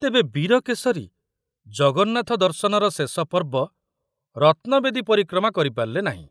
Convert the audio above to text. ତେବେ ବୀରକେଶରୀ ଜଗନ୍ନାଥ ଦର୍ଶନର ଶେଷ ପର୍ବ ରତ୍ନବେଦୀ ପରିକ୍ରମା କରି ପାରିଲେ ନାହିଁ।